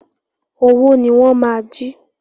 Owó ni wọ́n máa jí.